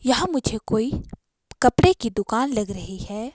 यह मुझे कोई कपड़े की दुकान लग रही है।